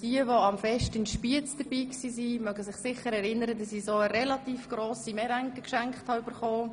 Jene, welche am Fest in Spiez dabei waren, erinnern sich bestimmt, dass mir eine relativ grosse Meringue geschenkt wurde.